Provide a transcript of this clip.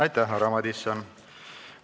Aitäh, härra Madison!